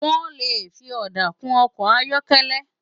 Wòn lé fi òdá kún òkò áyòkèlè